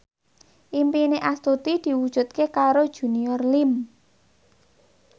impine Astuti diwujudke karo Junior Liem